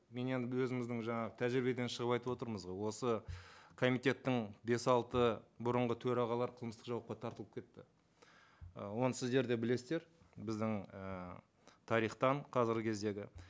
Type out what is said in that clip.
мен енді өзіміздің жаңағы тәжірибеден шығып айтып отырмыз ғой осы комитеттің бес алты бұрынғы төрағалары қылмыстық жауапқа тартылып кетті і оны сіздер де білесіздер біздің ііі тарихтан қазіргі кездегі